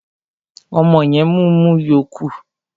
Ọmọ yẹn mumu yó kú.